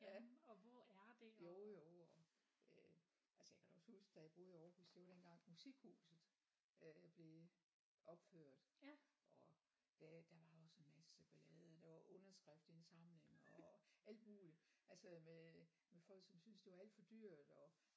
Ja jo jo og øh altså jeg kan da også huske da jeg boede i Aarhus det var dengang Musikhuset øh blev opført og det der var også en masse ballade der var underskriftsindsamling og alt muligt altså med folk som synes det var alt for dyrt og